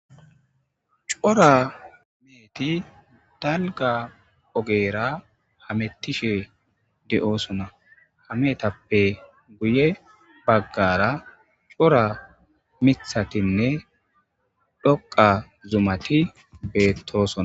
Coora meheti daligga ogera hametishe doosona ha mehetappe guye baggara corra mithatine dhoqa zumati betosona